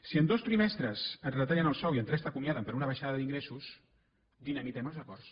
si en dos trimestres et retallen el sou i en tres t’acomiaden per una baixada d’ingressos dinamitem els acords